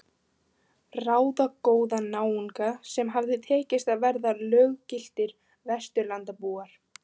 Ráðagóða náunga sem hafði tekist að verða löggiltir Vesturlandabúar.